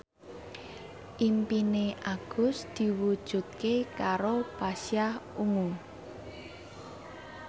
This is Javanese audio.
impine Agus diwujudke karo Pasha Ungu